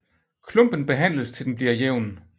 Klumpen behandles til den bliver jævn